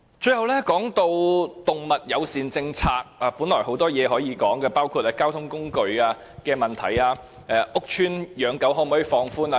最後，關於動物友善政策的問題，本來有很多事情可以討論，包括動物乘搭交通工具及放寬屋邨養狗的問題。